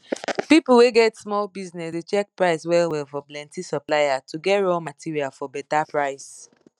people wey get small business dey check price well well for plenti supplier to get raw material for better price